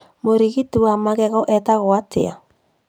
Mũrigiti wa magego etagwo atĩa?